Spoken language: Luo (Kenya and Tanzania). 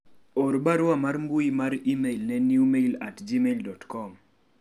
or barua mar mbui mar email ne newmail at gmaildot com